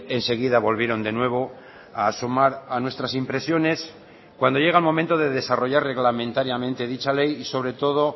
enseguida volvieron de nuevo a asomar a nuestras impresiones cuando llega el momento de desarrollar reglamentariamente dicha ley y sobre todo